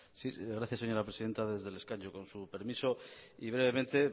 sí gracias señora presidenta desde el escaño con su permiso y brevemente